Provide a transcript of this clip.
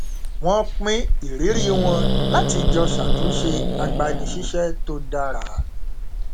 wọn pín ìrírí wọn láti jọ ṣàtúnṣe agbanisíṣẹ tó dára